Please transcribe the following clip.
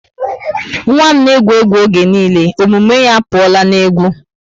Nwa m na egwu egwu oge niile. omume ya apuola n'egwu